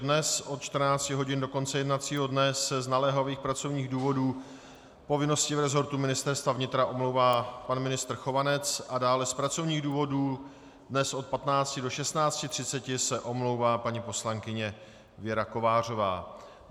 Dnes od 14 hodin do konce jednacího dne se z naléhavých pracovních důvodů, povinností v resortu Ministerstva vnitra, omlouvá pan ministr Chovanec a dále z pracovních důvodů dnes od 15 do 16.30 se omlouvá paní poslankyně Věra Kovářová.